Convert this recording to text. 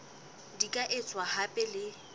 di ka etswa hape le